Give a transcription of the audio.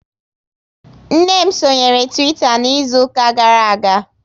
Nne m sonyere Twitter n'izuka gara aga